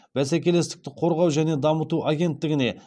бәсекелестікті қорғау және дамыту агенттігіне